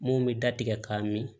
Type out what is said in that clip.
Mun bɛ da tigɛ k'a min